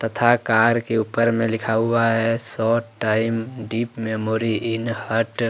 तथा कार के ऊपर में लिखा हुआ है short time deep memory in heart --